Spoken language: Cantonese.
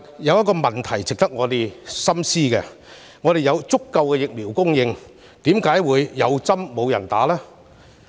有一個問題值得我們深思：既然香港有足夠疫苗供應，為何會"有針無人打"？